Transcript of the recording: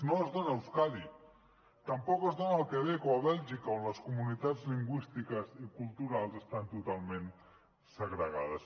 no es dona a euskadi tampoc es dona al quebec o a bèlgica on les comunitats lingüístiques i culturals estan totalment segregades